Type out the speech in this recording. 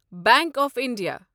bank of India